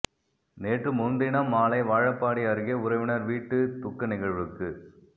நேற்று முன்தினம் மாலை வாழப்பாடி அருகே உறவினர் வீட்டு துக்க நிகழ்வுக்கு